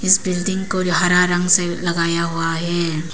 इस बिल्डिंग को जो हरा रंग से लगाया हुआ है।